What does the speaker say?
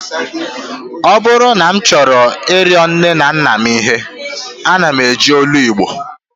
Ọ bụrụ na m chọọ ịrịọ nne na nna m ihe, ana m eji olu Igbo